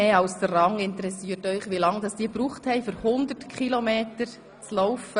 Mehr als den Rang interessiert Sie wohl die Frage, wie lange die fünf für die 100 km benötigt haben.